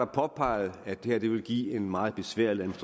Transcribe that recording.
påpeget at det her ville give en meget besværlig